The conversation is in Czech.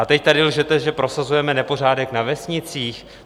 A teď tady lžete, že prosazujeme nepořádek na vesnicích?